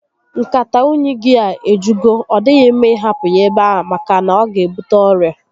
Nkata únyí gị a ejugo, ọ dịghị mma ị hapụ ya ebe a maka na ọ ga ebute ọrịa